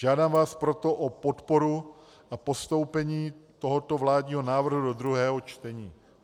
Žádám vás proto o podporu a postoupení tohoto vládního návrhu do druhého čtení.